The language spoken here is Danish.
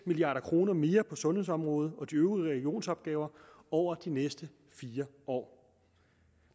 milliard kroner mere på sundhedsområdet og de øvrige regionsopgaver over de næste fire år